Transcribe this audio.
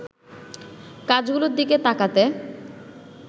কাজগুলোর দিকে তাকাতে